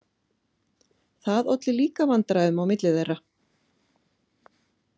Það olli líka vandræðum á milli þeirra.